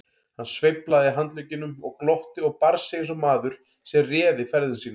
Hann sveiflaði handleggjunum og glotti og bar sig eins og maður sem réði ferðum sínum.